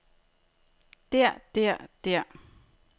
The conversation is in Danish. der der der